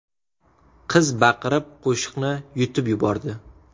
Qiz baqirib qoshiqni yutib yubordi.